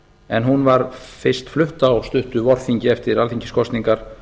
en hún var fyrst flutt á stuttu vorþingi eftir alþingiskosningar